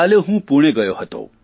કાલે હું પૂણે ગયો હતો